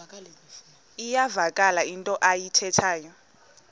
iyavakala into ayithethayo